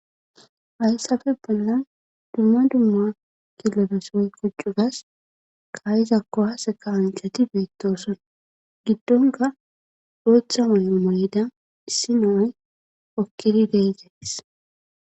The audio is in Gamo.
Hayssafe bollan dumma dumma kileves woykko cugas kaa7iza kuwaase kaa7anchati beettoosona giddonkka bootha mayo mayida issi nay hokkidi de7ees.